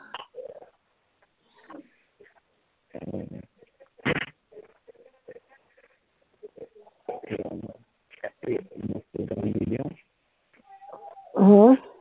মোক কেইটামান দি দিয়া হম